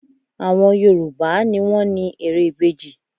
Àwọn Yorùbá á ni wọ́n ni ère ìbejì